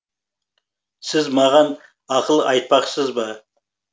сіз маған ақыл айтпақсыз ба